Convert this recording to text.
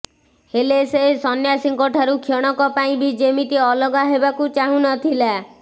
ହେଲେ ସେ ସନ୍ୟାସୀଙ୍କ ଠାରୁ କ୍ଷଣକ ପାଇଁ ବି ଯେମିତି ଅଲଗା ହେବାକୁ ଚାହୁଁନ ଥିଲା